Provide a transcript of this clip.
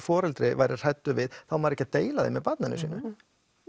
foreldri verður hræddur við þá á maður ekki að deila því með barninu sínu